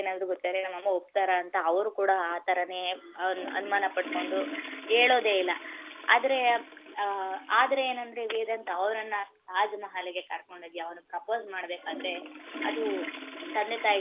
ಪ್ರೀತಿ ಏನಾದರೂ ಗೊತ್ತಾದರೆ ನಮ್ಮ ಅಮ್ಮ ಒಪ್ತರಾ ಅಂತ ಅವರು ಕೂಡ ಅನುಮಾನ ಪಟ್ಕೋಂಡು ಹೇಳೊದೆ ಇಲ್ಲ ಆದ್ರೆ ಆದರೆ ಏನಂದ್ರೆ ವೇದಾಂತ ಅವರನ್ನ ತಾಜ್ ಮಹಲ್ಗೆ ಕರಕೊಂಡು ಹೋಗಿ propose ಮಾಡಬೇಕಾದರೆ ಅದು, ತಂದೆ ತಾಯಿಗೆ ಗೊತ್ತಾಗ್.